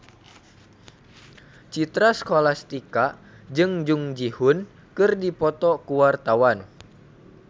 Citra Scholastika jeung Jung Ji Hoon keur dipoto ku wartawan